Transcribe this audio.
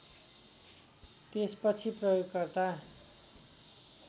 त्यसपछि प्रयोगकर्ता